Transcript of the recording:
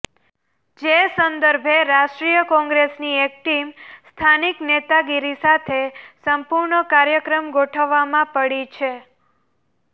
જે સંદર્ભે રાષ્ટ્રીય કોંગ્રેસની એક ટીમ સ્થાનિક નેતાગીરી સાથે સંપુર્ણ કાર્યક્રમ ગોઠવવામાં પડી છે